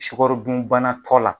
Sukarodunbana kɔ la.